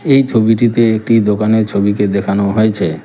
এই ছবিটিতে একটি দোকানের ছবিকে দেখানো হয়েছে।